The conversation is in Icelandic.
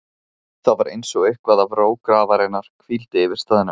Það var einsog eitthvað af ró grafarinnar hvíldi yfir staðnum.